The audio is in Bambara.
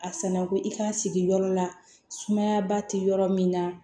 A sanna ko i k'a sigi yɔrɔ la sumaya ba tɛ yɔrɔ min na